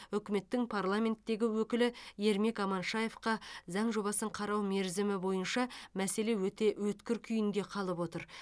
үкіметтің парламенттегі өкілі ермек аманшаевқа заң жобасын қарау мерзімі бойынша мәселе өте өткір күйінде қалып отыр